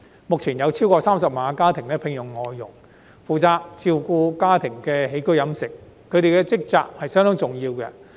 目前，超過30萬個家庭需要聘用外傭，負責照顧家庭的起居飲食，他們的職責相當重要。